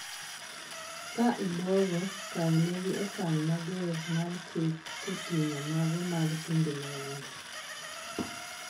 ka ibwogo kawnegi okang mager mar chik koting'o mago mag timbe mahundu